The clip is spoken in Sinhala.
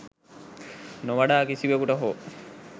නොවඩා කිසිවෙකුට හෝ